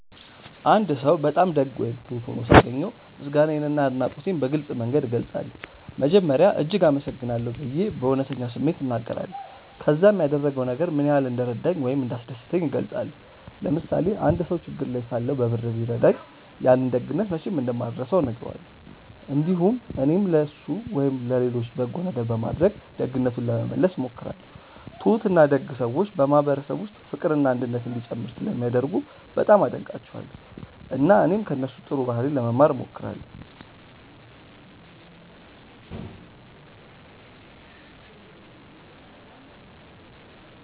አንድ ሰው በጣም ደግ ወይም ትሁት ሆኖ ሳገኘው ምስጋናዬንና አድናቆቴን በግልጽ መንገድ እገልጻለሁ። መጀመሪያ “እጅግ አመሰግናለሁ” ብዬ በእውነተኛ ስሜት እናገራለሁ፣ ከዚያም ያደረገው ነገር ምን ያህል እንደረዳኝ ወይም እንዳስደሰተኝ እገልጻለሁ። ለምሳሌ አንድ ሰው ችግር ላይ ሳለሁ በብር ቢረዳኝ፣ ያንን ደግነት መቼም እንደማልረሳው እነግረዋለሁ። እንዲሁም እኔም ለእሱ ወይም ለሌሎች በጎ ነገር በማድረግ ደግነቱን ለመመለስ እሞክራለሁ። ትሁትና ደግ ሰዎች በማህበረሰብ ውስጥ ፍቅርና አንድነት እንዲጨምር ስለሚያደርጉ በጣም አደንቃቸዋለሁ፣ እና እኔም ከእነሱ ጥሩ ባህሪ ለመማር እሞክራለሁ።